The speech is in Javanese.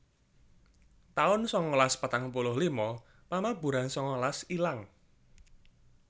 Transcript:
taun sangalas patang puluh lima Pamaburan sangalas ilang